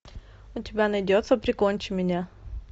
у тебя найдется прикончи меня